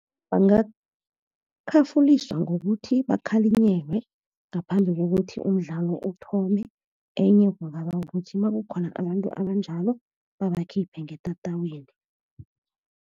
Bangakhafuliswa ngokuthi bakhalinyelwe ngaphambi kokuthi umdlalo othome, enye kungaba kukuthi nakukhona abantu abanjalo, babakhiphe ngetatawini.